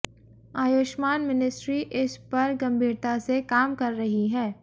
Ayushman ministry इस पर गंभीरता से काम कर रही है